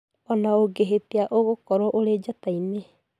Ona ũgehetĩa ũgũkorwo ũrĩ njata-inĩ.